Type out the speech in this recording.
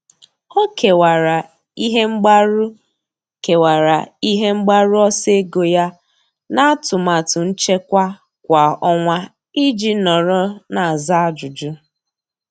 Ọ́ kèwàrà ihe mgbaru kèwàrà ihe mgbaru ọsọ ego ya n’átụ́màtụ nchekwa kwa ọnwa iji nọ́rọ́ n’ázá ájụ́jụ́.